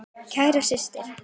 Kæra systir.